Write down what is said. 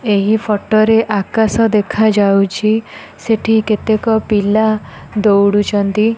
ଏହି ଫଟ ରେ ଆକାଶ ଦେଖା ଯାଉଛି। ସେଠି କେତେ ପିଲା ଦୋଡୁଚନ୍ତି।